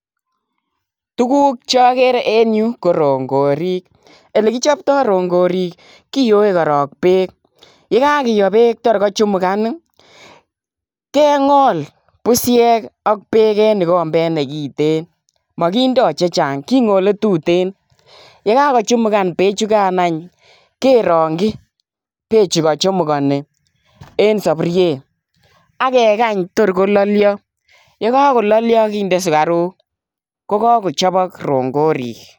Tuguuk choker en yuh ko rongorik olekichoptoo rongoriik kiyoe korong beek, yekakiyoo beek kotor kochumugan kengool busyeek ak beek en ikombet nekiten. Mokindo chechang kingole tuten. Yekokochumugan bechukan any kerongyii because kochumukonii en sopuriet. Ak kekany tor kololioo yekakololiio kinde sugaruk .Kokochobok rongooriik.